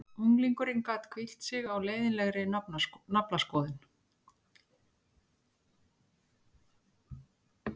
Unglingurinn gat hvílt sig á leiðinlegri naflaskoðun.